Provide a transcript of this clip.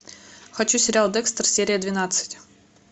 хочу сериал декстер серия двенадцать